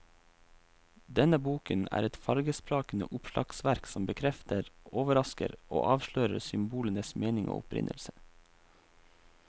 Denne boken er et fargesprakende oppslagsverk som bekrefter, overrasker og avslører symbolenes mening og opprinnelse.